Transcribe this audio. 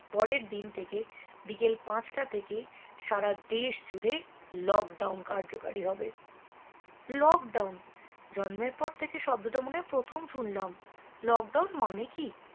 পরের দিন থেকে বিকেল পাঁচ টা থেকে সারা দেশ জুড়ে lockdown কার্যকারী হবে lockdown জন্মের পর থেকে শব্দটা মনে হয় প্রথম শুনলাম lockdown মানে কি